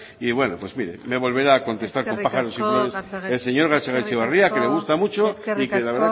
y bueno pues mire me volverá a contestar con el señor gatzagaetxebarria que le gusta mucho y que la verdad que